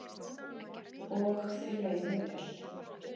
Og þeir veiða vel